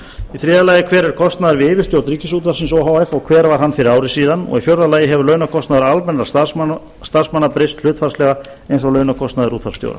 í þriðja lagi hver er kostnaður við yfirstjórn ríkisútvarpsins o h f og hver var hann fyrir ári síðan og í fjórða lagi hefur launakostnaður almennra starfsmanna breyst hlutfallslega eins og launakostnaður útvarpsstjóra